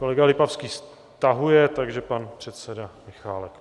Kolega Lipavský stahuje, takže pan předseda Michálek.